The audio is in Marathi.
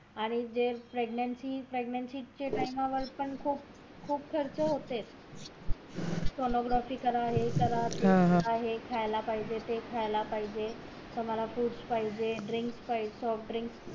आणि pregancy जे ते चे टाइम वर पण खूप खूप खर्च होते sonography करा हे करा ते करा हे खायला पाहिजे ते खायला पाहिजे मला फ्रुट पाहिजे ड्रिंक पाहिजे सॉफ्ट ड्रिंक पाहिजे